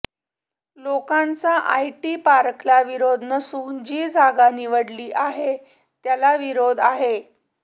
लोकांचा आयटी पार्कला विरोध नसून जी जागा निवडली आहे त्याला विरोध आहे